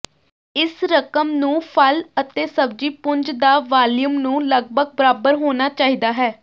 ਇਸ ਰਕਮ ਨੂੰ ਫਲ ਅਤੇ ਸਬਜ਼ੀ ਪੁੰਜ ਦਾ ਵਾਲੀਅਮ ਨੂੰ ਲਗਭਗ ਬਰਾਬਰ ਹੋਣਾ ਚਾਹੀਦਾ ਹੈ